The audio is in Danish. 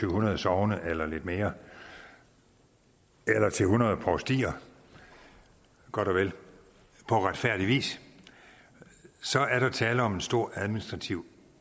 hundrede sogne eller lidt mere eller til hundrede provstier godt og vel på retfærdig vis er der tale om en stor administrativ